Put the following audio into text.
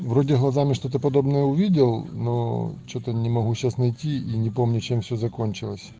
вроде глазами что-то подобное увидел но что-то не могу сейчас найти и не помню чем все закончилось